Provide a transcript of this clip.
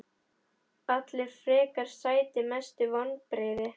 Allir frekar sætir Mestu vonbrigði?